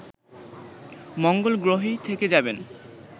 মঙ্গলগ্রহেই থেকে যাবেন